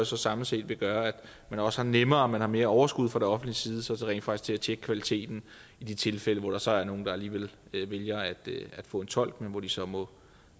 så samlet set vil gøre at man også har nemmere ved og man har mere overskud fra det offentliges side til rent faktisk til at tjekke kvaliteten i de tilfælde hvor der så er nogle der alligevel vælger at få en tolk men hvor de så må